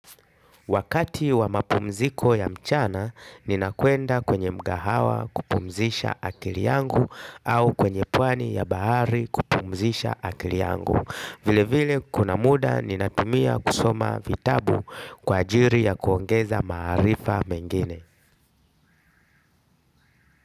Wakati wa mapumziko ya mchana, ninakwenda kwenye mgahawa kupumzisha akili yangu au kwenye pwani ya bahari kupumzisha akili yangu. Vile vile kuna muda ninatumia kusoma vitabu kwa ajili ya kuongeza maarifa mengine.